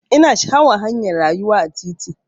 Ina sha'awar hanyar rayuwa a titi.